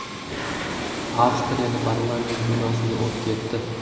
Avstriyada parlament binosiga o‘t ketdi.